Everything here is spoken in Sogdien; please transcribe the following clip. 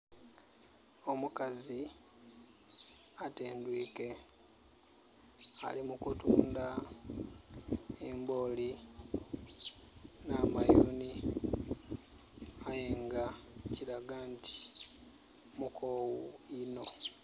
Omukazi atendhwiike, ali mu kutunda embooli nh'amayuuni. Aye nga kiraga nti mukoowu inho.